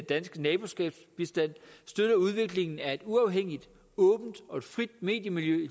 danske naboskabsbistand støtter udviklingen af et uafhængigt åbent og frit mediemiljø